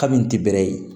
Ka min ti bɛrɛ ye